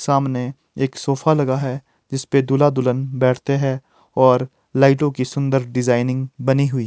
सामने एक सोफा लगा है जिस पे दूल्हा दुल्हन बैठते हैं और लाइटों की सुंदर डिजाइनिंग बनी हुई--